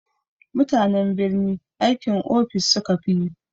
Mutanen birni aikin ofis sukafi yi.